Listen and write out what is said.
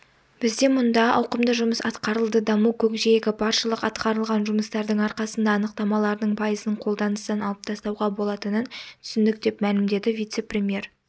бізде мұнда ауқымды жұмыс атқарылды даму көкжиегі баршылық атқарылған жұмыстардың арқасында анықтамалардың пайызын қолданыстан алып тастауға болатынын түсіндік деп мәлімдеді вице-премьер